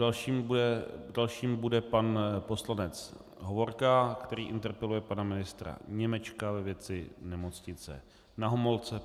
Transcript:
Dalším bude pan poslanec Hovorka, který interpeluje pana ministra Němečka ve věci Nemocnice Na Homolce.